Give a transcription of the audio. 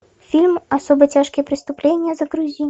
фильм особо тяжкие преступления загрузи